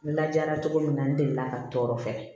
N lajara cogo min na n delila ka n tɔɔrɔ fɛ